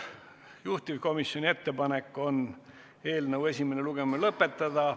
Juhtivkomisjoni ettepanek on eelnõu esimene lugemine lõpetada.